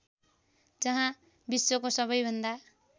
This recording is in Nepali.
जहाँ विश्वको सबैभन्दा